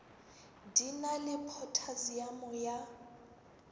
di na le phothasiamo ya